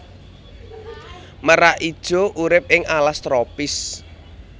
Merak ijo urip ing alas tropis